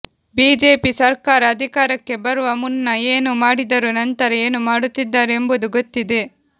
BJP ಸರ್ಕಾರ ಅಧಿಕಾರಕ್ಕೆ ಬರುವ ಮುನ್ನ ಏನು ಮಾಡಿದರೂ ನಂತರ ಏನು ಮಾಡುತ್ತಿದ್ದಾರೆ ಎಂಬುದು ಗೊತ್ತಿದೆ